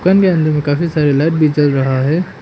दुकान के अंदर में काफी सारे लाइट भी जल रहा है।